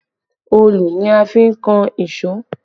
Òòlù ni a fi n kan èṣó